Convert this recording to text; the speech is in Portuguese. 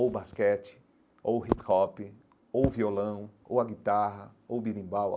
ou o basquete, ou o hip-hop, ou o violão, ou a guitarra, ou o berimbau.